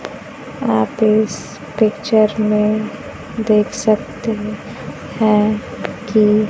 यहां पे इस पिक्चर में देख सकते हैं कि--